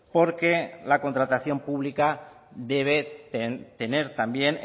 porque la contratación pública debe tener también